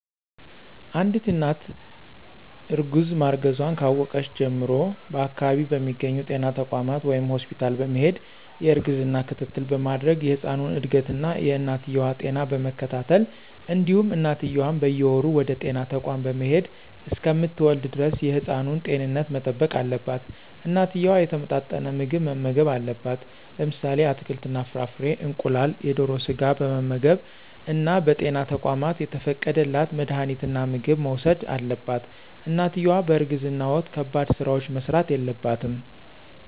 አንድት እናት እርግዛ ማርገዟን ካወቀች ጀምሮ በአከባቢው በሚገኙ ጤና ተቋማት ወይም ሆስፒታል በመሄድ የእርግዝና ክትትል በማድረግ የህፃኑን እድገት እና የእናትየዋ ጤና በመከታተል እንዲሁም እናትየዋም በየወሩ ወደጤና ተቋም በመሄድ እሰከምትወልድ ደረስ የህፃኑን ጤንነት መጠበቅ አለባት። እናትየዋ የተመጣጠነ ምግብ መመገብ አለባት። ለምሳሌ አትክልት እና ፍራፍሬ፣ እንቁላል፣ የደሮ ስጋ በመመገብ እና በጤና ተቋማት የተፈቀደላት መድሀኒትና ምግብ መውሰድ አለባት። እናትየዋ በእርግዝና ወቅት ከባድ ስራዎች መስራት የለባትም።